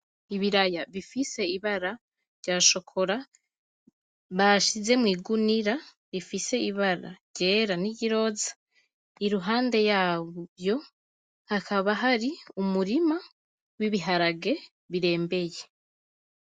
Ibiraya bifise ibara rya chocolat bashize mw'igunira rifise ibara ryera niry'iroza impande yaho hakaba hariho umurima w'ibiharage birembeye.